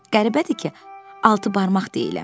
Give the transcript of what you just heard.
Qəribədir ki, altı barmaq deyiləm.